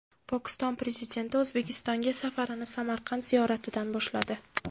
Pokiston Prezidenti O‘zbekistonga safarini Samarqand ziyoratidan boshladi.